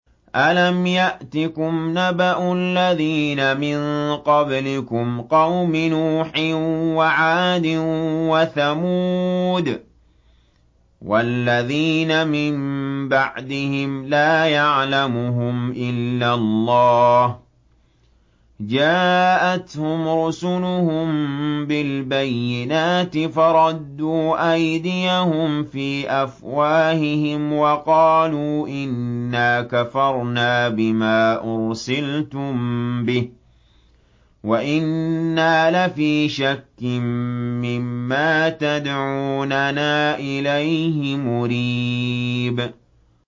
أَلَمْ يَأْتِكُمْ نَبَأُ الَّذِينَ مِن قَبْلِكُمْ قَوْمِ نُوحٍ وَعَادٍ وَثَمُودَ ۛ وَالَّذِينَ مِن بَعْدِهِمْ ۛ لَا يَعْلَمُهُمْ إِلَّا اللَّهُ ۚ جَاءَتْهُمْ رُسُلُهُم بِالْبَيِّنَاتِ فَرَدُّوا أَيْدِيَهُمْ فِي أَفْوَاهِهِمْ وَقَالُوا إِنَّا كَفَرْنَا بِمَا أُرْسِلْتُم بِهِ وَإِنَّا لَفِي شَكٍّ مِّمَّا تَدْعُونَنَا إِلَيْهِ مُرِيبٍ